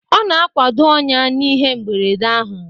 Ọ na-akwado ọnya n'ihe mberede ahụ